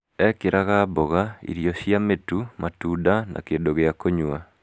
ekĩraga mboga, irio cia mĩtu matunda na kĩndũ gĩa kũnyua.